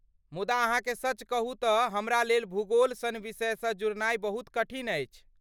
मुदा अहाँके सच कहू तँ हमरालेल भूगोल सन विषयसँ जुड़नाइ बहुत कठिन अछि।